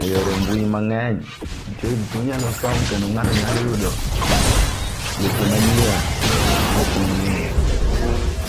e yore mbui mang'eny ntie gik minyalo som kendo ng'ato nyalo yudo weche manyien mok ong'eyo.